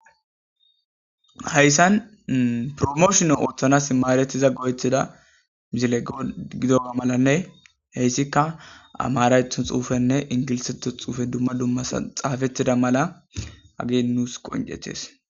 heyssan promooshona ooththanas imaaretiza go7etida mizile go gidoa malanne heyssikka amaraython xuufenne ingiliseto xuufe dumma dummasa xaafettida mala agie nuus qoncetes